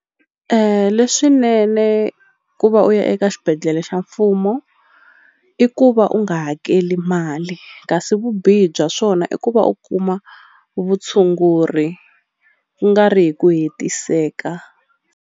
Leswinene ku va u ya eka xibedhlele xa mfumo i ku va u nga hakeli mali kasi vubihi bya swona i ku va u kuma vutshunguri kungari hi ku hetiseka.